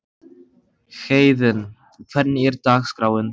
Héðinn, hvernig er dagskráin?